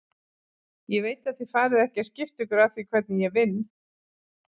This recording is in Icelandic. Ég veit að þið farið ekki að skipta ykkur af því hvernig ég vinn.